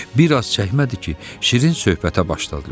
Bir az çəkmədi ki, şirin söhbətə başladılar.